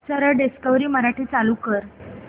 सरळ डिस्कवरी मराठी चालू कर